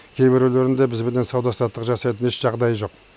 кейбіреулерінде бізбенен сауда саттық жасайтын еш жағдайы жоқ